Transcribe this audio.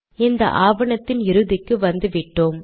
இந்த ஆவணத்தின் இறுதிக்கு வந்துவிட்டோம்